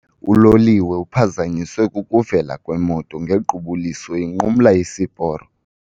Uloliwe uphazanyiswe kukuvela kwemoto ngequbuliso inqumla isiporo.